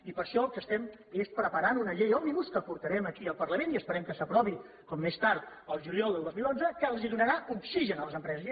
i per això el que estem preparant és una llei òmnibus que portarem aquí al parlament i esperem que s’aprovi com més tard el juliol del dos mil onze que els donarà oxigen a les empreses